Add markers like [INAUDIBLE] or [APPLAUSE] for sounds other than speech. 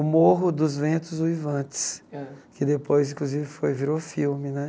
O Morro dos Ventos Uivantes, [UNINTELLIGIBLE] que depois, inclusive, foi virou filme né.